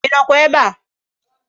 Inokwa ebea?